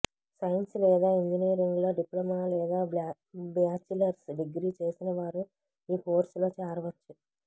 science లేదా ఇంజినీరింగ్లో diploma లేదా బ్యాచిలర్స్ డిగ్రీ చేసినవారు ఈ కోర్సులో చేరవచ్చు